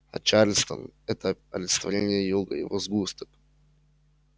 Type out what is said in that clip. а чарльстон это олицетворение юга его сгусток